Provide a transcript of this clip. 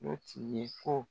O tile ko